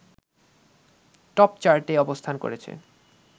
টপচার্টে অবস্থান করেছে